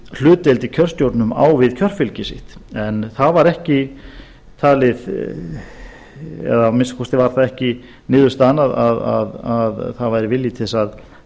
hlutdeild í kjörstjórnum á við kjörfylgi sitt en það var ekki talið eða að minnsta kosti var það ekki niðurstaðan að það væri vilji til þess að